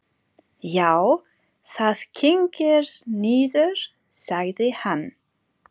Já, það kyngir niður, sagði hann.